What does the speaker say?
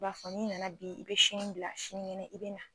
I b'a fɔ n'i nana bi, i bɛ sini bila sinikɛnɛ, i bɛ na